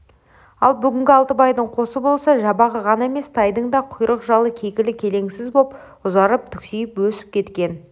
ал бүгінгі алтыбайдың қосы болса жабағы ғана емес тайдың да құйрық-жалы кекілі келеңсіз боп ұзарып түксиіп өсіп кеткен